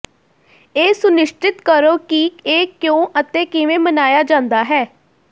ਇਹ ਸੁਨਿਸ਼ਚਿਤ ਕਰੋ ਕਿ ਇਹ ਕਿਉਂ ਅਤੇ ਕਿਵੇਂ ਮਨਾਇਆ ਜਾਂਦਾ ਹੈ